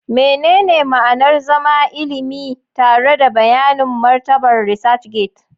Menene ma'anar zama ilimi tare da bayanin martabar ResearchGate?